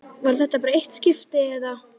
Var þetta bara eitt skipti, eða.